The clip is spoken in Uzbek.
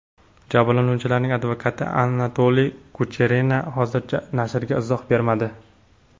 Jabrlanuvchilarning advokati Anatoliy Kucherena hozircha nashrga izoh bermadi.